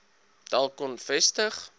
dak kon vestig